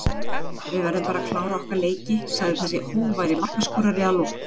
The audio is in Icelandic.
Við verðum bara að klára okkar leiki sagði þessi hógværi markaskorari að lokum.